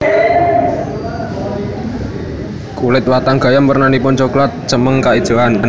Kulit watang gayam wernanipun cokelat cemeng kaijoan